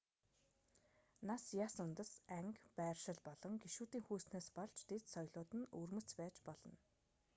нас яс үндэс анги байршил болон гишүүдийн хүйснээс болж дэд соёлууд нь өвөрмөц байж болно